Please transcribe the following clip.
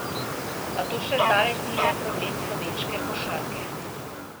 A to še zdaleč ni le problem slovenske košarke.